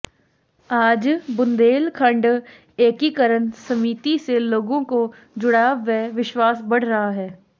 आज बुन्देलखण्ड एकीकरण समिति से लोगों को जुड़ाव व विश्वास बढ़ रहा है